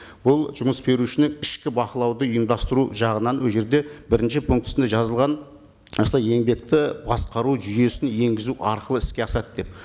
бұл жұмыс берушінің ішкі бақылауды ұйымдастыру жағынан ол жерде бірінші пунктісінде жазылған осылай еңбекті басқару жүйесін енгізу арқылы іске асады деп